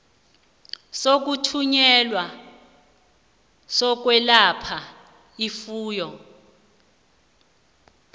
zokuthunyelwa zokwelapha ifuyo